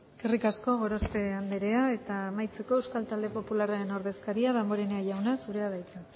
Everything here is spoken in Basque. eskerrik asko gorospe andrea eta amaitzeko euskal talde popularraren ordezkaria damborenea jauna zurea da hitza